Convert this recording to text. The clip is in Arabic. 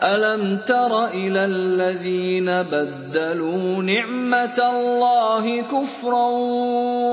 ۞ أَلَمْ تَرَ إِلَى الَّذِينَ بَدَّلُوا نِعْمَتَ اللَّهِ كُفْرًا